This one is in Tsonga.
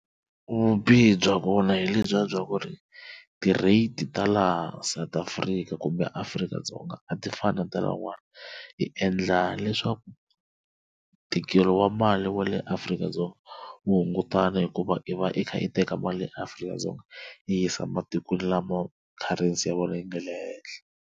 Vubihi bya kona hi le bya bya ku ri ti rate ta laha South Afrika kumbeAfrika-Dzonga a ti fani na ta lahawani hi endla leswaku tikelo wa mali wa le Afrika-Dzonga wu hungutana hikuva i va i kha i teka mali eAfrika-Dzonga yi yisa matikweni lama currency ya vona yi nga le henhla.